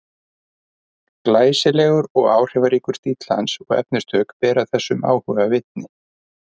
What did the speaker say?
Glæsilegur og áhrifaríkur stíll hans og efnistök bera þessum áhuga vitni.